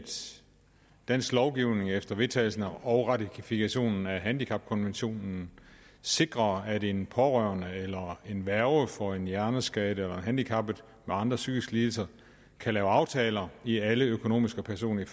dansk lovgivning efter vedtagelse og ratifikation af handicapkonventionen sikrer at en pårørende til eller en værge for en hjerneskadet eller handicappet med andre psykiske lidelser kan lave aftaler i alle økonomiske og personlige